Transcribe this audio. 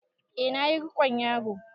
E na ƴi rikon yaro.